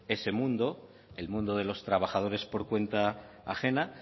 ese mundo el mundo de los trabajadores por cuenta ajena